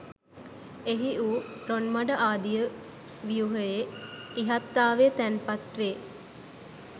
එහි වූ රොන්මඩ ආදිය ව්‍යුහයේ ඉහත්තාවේ තැන්පත් වේ.